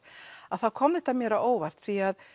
að þá kom þetta mér á óvart því að